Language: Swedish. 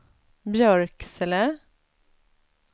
Björksele